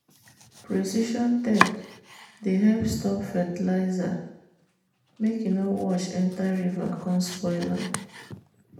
precision tech dey help stop fertilizer make e no wash enter river come spoil am.